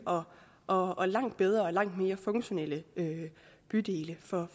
og og langt bedre og langt mere funktionelle bydele for